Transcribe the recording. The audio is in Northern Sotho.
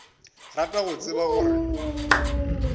rata go tseba gore o